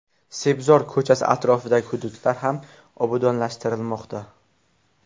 Sebzor ko‘chasi atrofidagi hududlar ham obodonlashtirilmoqda.